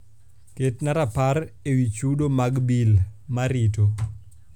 ketna rapar ewi chudo mag bil marito